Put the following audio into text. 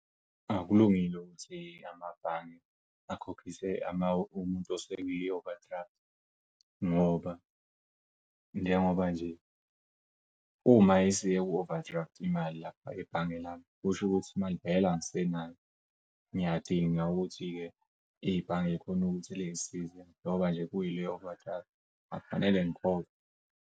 Akulungile ukuthi amabhange akhokhise umuntu esekwi-overdraft ngoba, njengoba nje uma isiye ku-overdraft imali lapha ebhange lami kusho ukuthi imali vele angisenayo ngiyadinga ukuthi-ke ibhange likhone ukuthi lingisize ngoba nje kuyileyo overdraft akufanele ngikhokhe.